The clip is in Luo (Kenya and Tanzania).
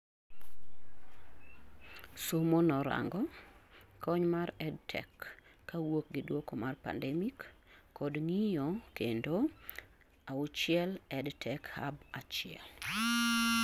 Somo norango: kony mar Edtech kawuok gi duoko mar pandemic: kod ng'iyo kendo 6 OEdTech Hub1